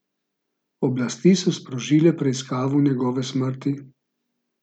Oblasti so sprožile preiskavo njegove smrti.